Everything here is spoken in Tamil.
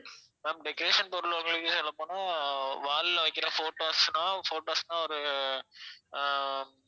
ma'am decoration பொருள் உங்களுக்கு சொல்லப்போனா wall ல வைக்கிற photos னா photos னா ஒரு அஹ்